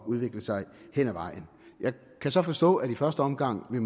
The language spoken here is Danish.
udvikle sig hen ad vejen jeg kan så forstå at de i første omgang